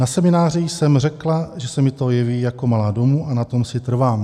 Na semináři jsem řekla, že se mi to jeví jako malá domů, a na tom si trvám.